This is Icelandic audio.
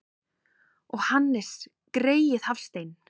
Og Hannes greyið Hafstein!